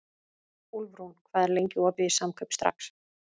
Úlfrún, hvað er lengi opið í Samkaup Strax?